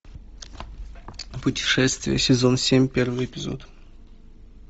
путешествия сезон семь первый эпизод